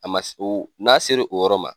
A man o n'a sera o yɔrɔ ma.